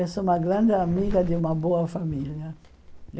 Eu sou uma grande amiga de uma boa família.